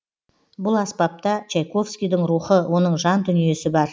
бұл аспапта чайковскийдің рухы оның жан дүниесі бар